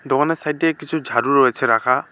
দোকানের সাইডে কিছু ঝাড়ু রয়েছে রাখা।